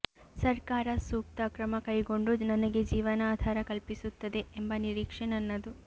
ಸರ್ಕಾರ ಸೂಕ್ತ ಕ್ರಮ ಕೈಗೊಂಡು ನನಗೆ ಜೀವನಾಧಾರ ಕಲ್ಪಿಸುತ್ತದೆ ಎಂಬ ನಿರೀಕ್ಷೆ ನನ್ನದು